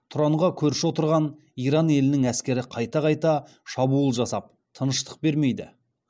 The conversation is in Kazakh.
тұранға көрші отырған иран елінің әскері қайта қайта шабуыл жасап тыныштық бермейді